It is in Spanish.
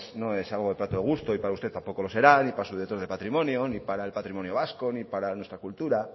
no es algo de plato de gusto y para usted tampoco lo será ni para su director de patrimonio ni para el patrimonio vasco ni para nuestra cultura